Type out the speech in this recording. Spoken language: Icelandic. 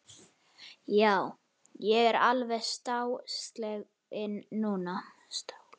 Já, ég er alveg stálsleginn núna!